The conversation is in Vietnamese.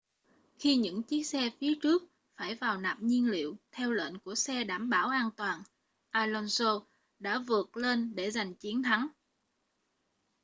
khi những chiếc xe phía trước phải vào nạp nhiên liệu theo lệnh của xe bảo đảm an toàn alonso đã vượt lên để giành chiến thắng